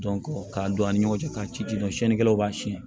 ka don an ni ɲɔgɔn cɛ ka ci dɔn sikɛlaw b'a siyɛn